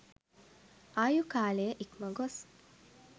ආයු කාලය ඉක්ම ගොස්